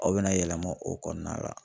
Aw bɛna yɛlɛma o kɔɔna la.